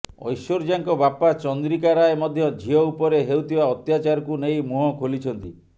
ଐଶ୍ୱର୍ଯ୍ୟାଙ୍କ ବାପା ଚନ୍ଦ୍ରିକା ରାୟ ମଧ୍ୟ ଝିଅ ଉପରେ ହେଉଥିବା ଅତ୍ୟାଚାରକୁ ନେଇ ମୁହଁ ଖୋଲିଛନ୍ତି